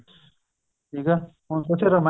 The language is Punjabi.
ਠੀਕ ਏ ਹੁਣ ਤੁਸੀਂ ਰਾਮਾਇਣ ਲੈ ਲੋ